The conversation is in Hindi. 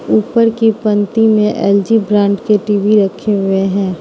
ऊपर की पंक्ति में एल_जी ब्रांड के टी_वी रखे हुए हैं।